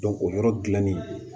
o yɔrɔ dilanni